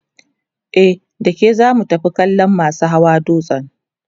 e dake zamu tafi kallan masu Hawa dutsen